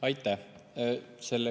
Aitäh!